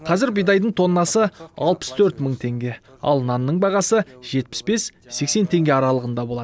қазір бидайдың тоннасы алтыс төрт мың теңге ал нанның бағасы жетпіс бес сексен теңге аралығында болады